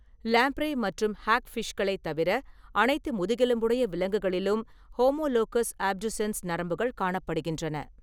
Lamprey மற்றும் ஹாக்ஃபிஷ்களைத் தவிர அனைத்து முதுகெலும்புடைய விலங்குகளிலும் ஹோமோலோகஸ் அப்டுசென்ஸ் நரம்புகள் காணப்படுகின்றன.